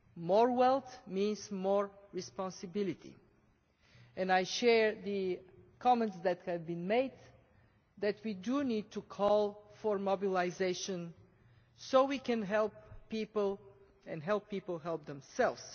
More wealth means more responsibility, and I share the comments that have been made that we need to call for mobilisation so we can help people and help people help themselves.